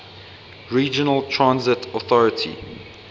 regional transit authority